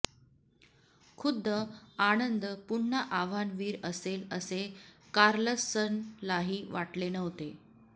खुद्द आनंद पुन्हा आव्हानवीर असेल असे कार्लसनलाही वाटले नव्हते